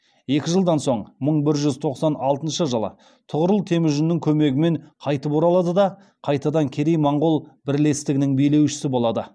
екі жылдан соң мың бір жүз тоқсан алтыншы жылы тұғырыл темүжіннің көмегімен қайтып оралады да қайтадан керей моғол бірлестігінің билеушісі болады